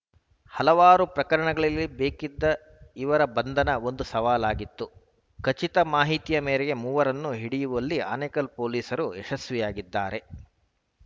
ಹಲವಾರು ಪ್ರಕರಣಗಳಲ್ಲಿ ಬೇಕಿದ್ದ ಇವರ ಬಂಧನ ಒಂದು ಸವಾಲಾಗಿತ್ತು ಖಚಿತ ಮಾಹಿತಿ ಮೇರೆಗೆ ಮೂವರನ್ನು ಹಿಡಿಯುವಲ್ಲಿ ಆನೇಕಲ್‌ ಪೊಲೀಸರು ಯಶಸ್ವಿಯಾಗಿದ್ದಾರೆ